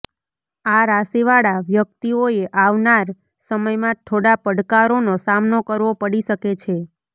આ રાશિવાળા વ્યક્તિઓએ આવનાર સમયમાં થોડા પડકારોનો સામનો કરવો પડી શકે છે